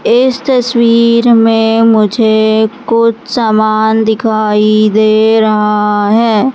इस तस्वीर में मुझे कुछ सामान दिखाई दे रहा है।